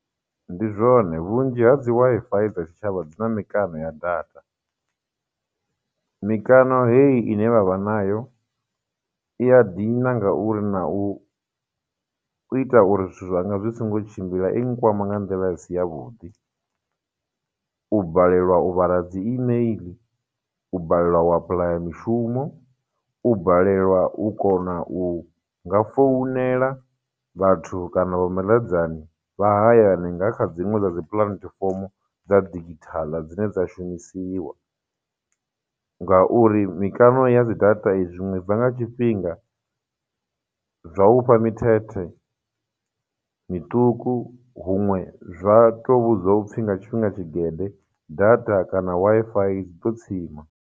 Ndi zwone, vhunzhi ha dzi Wi-Fi dza tshitshavha dzina mikano ya data, mikano heyi ine vha vha nayo, i ya dina ngauri na u ita uri zwithu zwa nga zwi songo tshimbila, i nkwama nga nḓila i si ya vhuḓi. U balelwa u vhala dzi email, u balelwa u apuḽaya mishumo, u balelwa u kona u nga founela vhathu kana vha maḽedzani vha hayani nga kha dziṅwe dza dzi platform dza digital dzine dza shumisiwa, ngauri mikano ya dzi data zwiṅwe i bva nga tshifhinga, zwa u fha mithethe miṱuku, huṅwe zwa tou vhudzwa upfhi nga tshifhinga tshigede data kana Wi-Fidzi ḓo tsima.